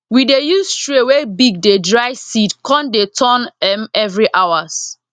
we dey use tray wey big dey dry seed con dey turn m every hours